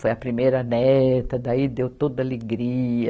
Foi a primeira neta, daí deu toda alegria.